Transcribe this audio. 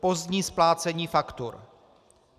Pozdní splácení faktur.